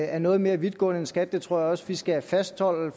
er noget mere vidtgående end skats det tror jeg også vi skal fastholde